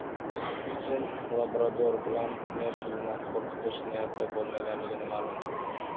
Putin labrador bilan Merkelni qo‘rqitish niyati bo‘lmaganligini ma’lum qildi.